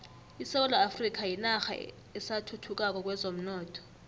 isewula afrika yinarha esathuthukako kwezomnotho